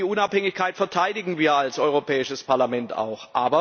Und die Unabhängigkeit verteidigen wir als Europäisches Parlament auch.